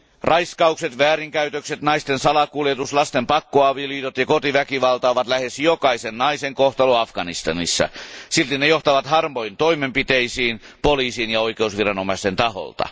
Raiskaukset, väärinkäytökset, naisten salakuljetus, lasten pakkoavioliitot ja kotiväkivalta ovat lähes jokaisen naisen kohtalo Afganistanissa. Silti ne johtavat harvoin toimenpiteisiin poliisin ja oikeusviranomaisten taholta.